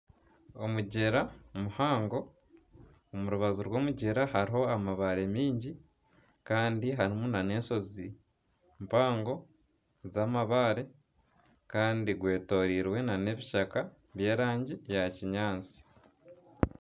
Omugyera muhango omu rubaju rw'omugyera hariho amabare mingi kandi harimu na n'eshozi mpango z'amabaare kandi gwetoreirwe na n'ebishaka by'erangi ya kinyaatsi.